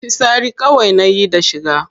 Fitsari kawai nayi da na shiga.